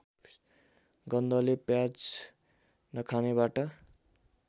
गन्धले प्याज नखानेबाट